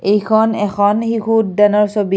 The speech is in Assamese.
এইখন এখন শিশু উদ্যানৰ ছবি।